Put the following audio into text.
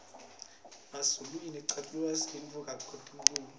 emazulu aculangesintfu kakitulu